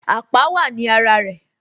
Àpá wá ní ara rẹ